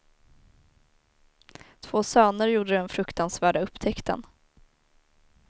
Två söner gjorde den fruktansvärda upptäckten.